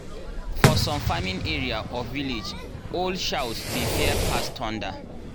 for some farming area or village owl shout dey fear pass thunder.